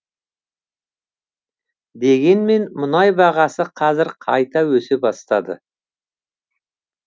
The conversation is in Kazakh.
дегенмен мұнай бағасы қазір қайта өсе бастады